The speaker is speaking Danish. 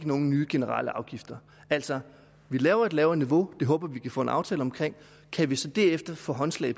nogen nye generelle afgifter altså vi laver et lavere niveau det håber vi vi kan få en aftale omkring og kan vi så derefter få håndslag